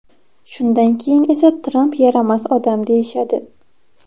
Shundan keyin esa Tramp yaramas odam deyishadi.